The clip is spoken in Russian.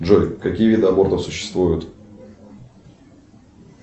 джой какие виды абортов существуют